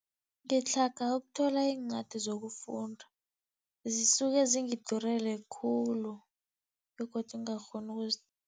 Ngitlhaga ukuthola iincwadi zokufunda, zisuke zingidurele khulu begodu ngingakghoni